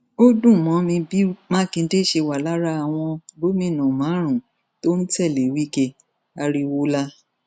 ó dùn mọ mi bí mákindè ṣe wà lára àwọn gómìnà márùnún tó ń tẹlé wike ariwola